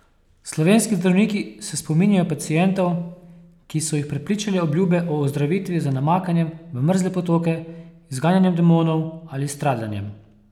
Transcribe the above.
Slovenski zdravniki se spominjajo pacientov, ki so jih prepričale obljube o ozdravitvi z namakanjem v mrzle potoke, izganjanjem demonov ali s stradanjem.